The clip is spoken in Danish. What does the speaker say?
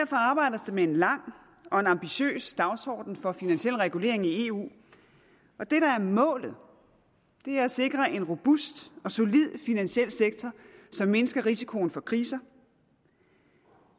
med en lang og en ambitiøs dagsorden for finansiel regulering i eu og det der er målet er at sikre en robust og solid finansiel sektor som mindsker risikoen for kriser